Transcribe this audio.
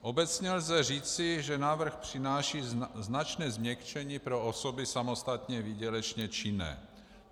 Obecně lze říci, že návrh přináší značné změkčení pro osoby samostatně výdělečně činné.